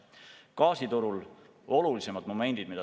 Tahaks välja tuua ka gaasituru olulisemad momendid.